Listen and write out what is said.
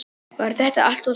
Var þetta allt og sumt?